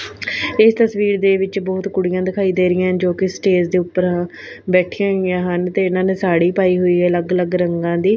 ਇਹ ਤਸਵੀਰ ਦੇ ਵਿੱਚ ਬਹੁਤ ਕੁੜੀਆਂ ਦਿਖਾਈ ਦੇ ਰਹੀ ਆਂ ਜੋ ਕਿ ਸਟੇਜ ਦੇ ਉੱਪਰ ਬੈਠੀਆਂ ਹੋਈਆਂ ਹਨ ਤੇ ਇਹਨਾਂ ਨੇ ਸਾੜੀ ਪਾਈ ਹੋਈ ਆ ਅਲੱਗ ਅਲੱਗ ਰੰਗਾਂ ਦੀ --